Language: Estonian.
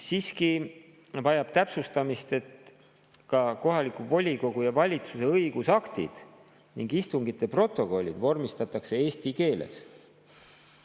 Siiski vajab täpsustamist, et ka kohaliku volikogu ja valitsuse õigusaktid ning istungite protokollid tuleb vormistada eesti keeles.